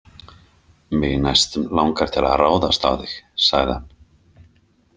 Mig næstum langar til að ráðast á þig, sagði hann.